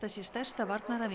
sé stærsta